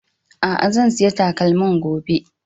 a'a zan siya takalmin gobe